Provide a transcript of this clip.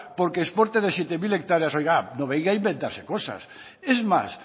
porque exporte de siete mil seiscientos hectáreas oiga no venga a inventarse cosas es más